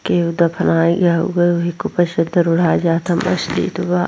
केव दफनाई गए हैवही चद्दर ओढ़त --